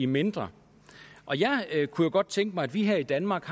mindre jeg kunne godt tænke mig at vi her i danmark